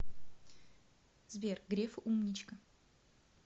сбер греф умничка